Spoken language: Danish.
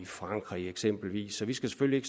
frankrig eksempelvis så vi skal selvfølgelig